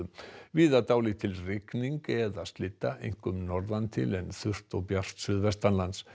víða dálítil rigning eða einkum norðan til en þurrt og bjart suðvestanlands